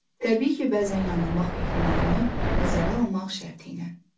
Təbii ki, bəzən yanılmaq ehtimalını nəzərə almaq şərtilə.